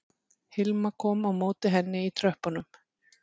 Hilma kom á móti henni í tröppunum